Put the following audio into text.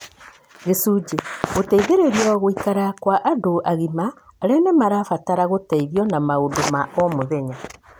Gĩcunjĩ. Gũteithĩrĩrio guikara kwa andũ agima aria nimarabatara gũteithio na maũndũ ma o mũthenya.